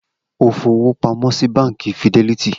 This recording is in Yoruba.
O fọwọ́ pamọ́ sí Báńkì Fidelity?